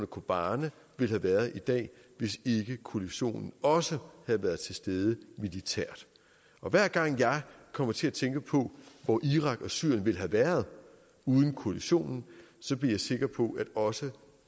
kobane ville have været i dag hvis ikke koalitionen også havde været tilstede militært og hver gang jeg kommer til at tænke på hvor irak og syrien ville have været uden koalitionen så bliver jeg sikker på at også